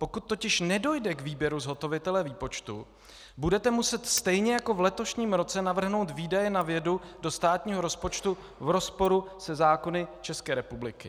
Pokud totiž nedojde k výběru zhotovitele výpočtu, budete muset stejně jako v letošním roce navrhnout výdaje na vědu do státního rozpočtu v rozporu se zákony České republiky.